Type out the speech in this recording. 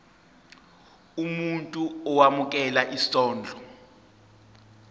umuntu owemukela isondlo